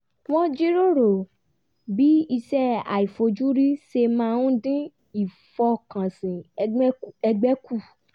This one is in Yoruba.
wọ́n jíròrò bí iṣẹ́ aifojú-rí ṣe máa dín ìfọkànsìn ẹgbẹ́ kù